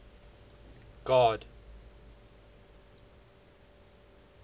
god